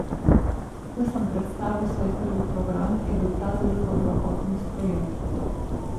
Ko sem predstavil svoj prvi program, je bil ta zelo dobrohotno sprejet.